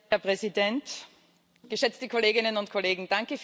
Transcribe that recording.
Herr Präsident, geschätzte Kolleginnen und Kollegen!